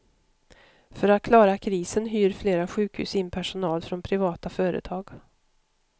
För att klara krisen hyr flera sjukhus in personal från privata företag.